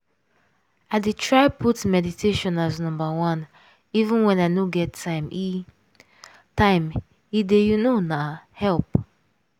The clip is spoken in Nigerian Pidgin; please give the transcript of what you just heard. i dey try put meditation as number oneeven when i no get time - e time - e dey you know na help.